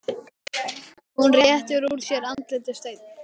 Hún réttir úr sér, andlitið steinn.